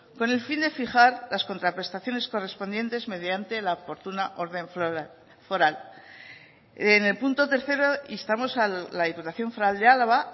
con el fin de fijar las contraprestaciones correspondientes mediante la oportuna orden foral en el punto tercero instamos a la diputación foral de álava